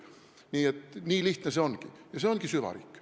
Nii et nii lihtne see ongi ja see ongi süvariik.